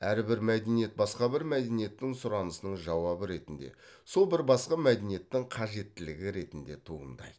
әрбір мәдениет басқа бір мәдениеттің сұранысының жауабы ретінде сол бір басқа мәдениеттің қажеттілігі ретінде туындайды